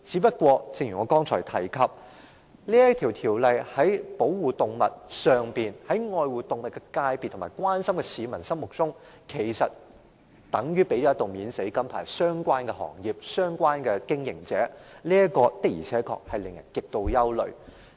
然而，正如我剛才提及，修訂後的條例，在愛護動物的界別和關心動物的市民眼中，其實等於向相關行業和經營者發出一道"免死金牌"，這確實令人極度憂慮。